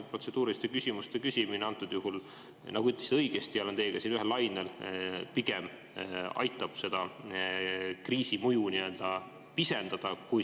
Protseduuriliste küsimuste küsimine antud juhul, nagu te õigesti ütlesite – olen teiega siin ühel lainel –, pigem aitab seda kriisi mõju nii-öelda pisendada.